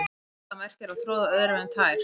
Augljóst er hvað það merkir að troða öðrum um tær.